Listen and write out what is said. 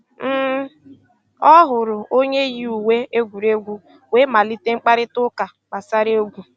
um Ọ hụ̀rụ̀ ònyè yì ùwé ègwùrègwù wéé malìtè mkpáịrịtà ụ́ka gbàsàrà ègwù.